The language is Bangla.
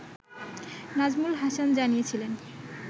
নাজমুল হাসান জানিয়েছিলেন